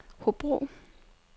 Hobro